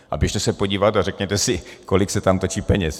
A běžte se podívat a řekněte si, kolik se tam točí peněz.